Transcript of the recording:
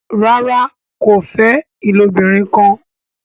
ràrá kò fè ilobirin kán.